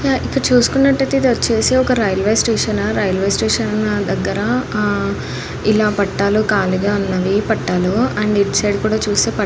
ఇక్కడ చూసుకునట్టు ఐతే ఇది వచ్చేసి రైల్వే స్టేషన్ ఆహ్ రైల్వే స్టేషన్ దగ్గర ఆహ్ ఇలా పట్టాలు కలిగా ఉన్నాయి . పట్టాలు అండ్ ఇటు సైడ్ కూడా పట్టా--